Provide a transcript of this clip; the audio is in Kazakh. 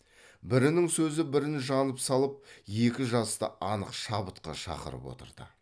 бірінің сөзі бірін жанып салып екі жасты анық шабытқа шақырып отырды